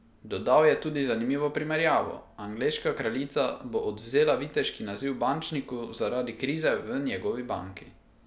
Dodal je tudi zanimivo primerjavo: "Angleška kraljica bo odvzela viteški naziv bančniku, zaradi krize v njegovi banki.